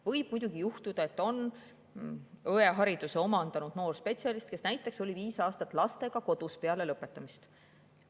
Võib muidugi juhtuda, et on õehariduse omandanud noor spetsialist, kes näiteks on olnud viis aastat lastega kodus peale lõpetamist.